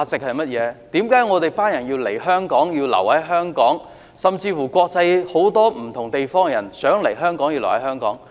為何我們要來香港、留在香港，甚至國際很多不同地方的人想來香港、留在香港？